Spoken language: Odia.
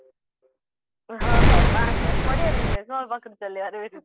ହଁ ହଁ ବାସ ବାସ୍ ବଢିଆ business ମୋ ପାଖକୁ ଚାଳିଆ ବେ ତୁ